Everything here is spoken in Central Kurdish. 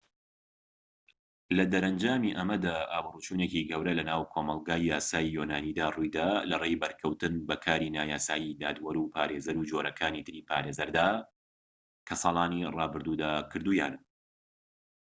لەدەرەنجامی ئەمەدا ئابروچوونێکی گەورە لەناو کۆمەڵگەی یاسایی یۆنانیدا ڕوویدا لەڕێی بەرکەوتن بە کاری نایاسایی دادوەر و پارێزەر و جۆرەکانی تری پارێزەردا کە لە ساڵانی رابردوودا کردوویانە